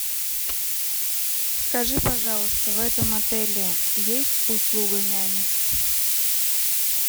скажи пожалуйста в этом отеле есть услуга няни